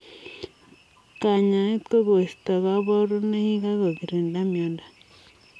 Kanyaet ko koistoo kaparunoik ak kogirindaa miondoo.